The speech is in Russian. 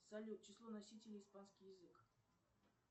салют число носителей испанский язык